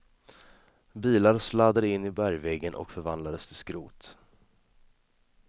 Bilar sladdade in i bergväggen och förvandlades till skrot.